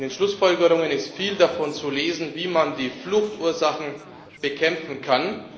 In den Schlussfolgerungen ist viel davon zu lesen, wie man die Fluchtursachen bekämpfen kann.